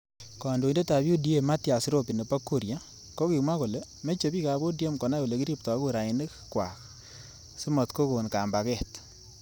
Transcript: Kandoindet ab UDA Mathias Robby nebo. Kuria kokimwa kole meche bik ab ODM konai olekiriptoi kurainik. kwaak. simatkokon kambaget.